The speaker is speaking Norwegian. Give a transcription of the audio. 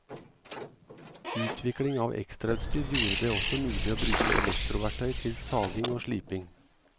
Utvikling av ekstrautstyr gjorde det også mulig å bruke elektroverktøy til saging og sliping.